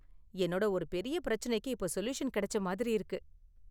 என்னோட ஒரு பெரிய பிரச்சனைக்கு இப்போ சொல்யூஷன் கிடைச்ச மாதிரி இருக்கு.